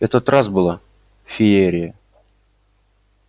я тот раз была феерия